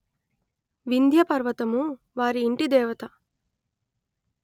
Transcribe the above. వింధ్యపర్వతము వారి యింటిదేవత